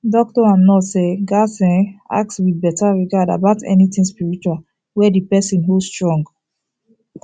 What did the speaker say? doctor and nurse um gatz um ask with better regard about anything spiritual wey the person hold strong